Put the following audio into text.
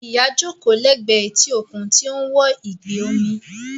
Ìyá jókòó lẹ́gbẹ̀ẹ́ etí òkun tí ó ń wo ìgbì omi